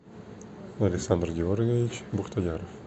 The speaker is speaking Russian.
александр георгиевич бухтояров